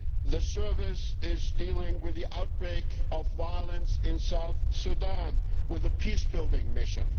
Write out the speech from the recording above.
The Service is dealing with the outbreak of violence in South Sudan with a peacebuilding mission.